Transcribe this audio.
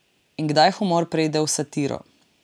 In kdaj humor preide v satiro?